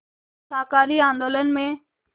शाकाहारी आंदोलन में